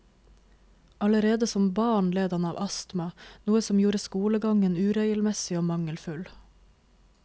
Allerede som barn led han av astma, noe som gjorde skolegangen uregelmessig og mangelfull.